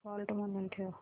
default म्हणून ठेव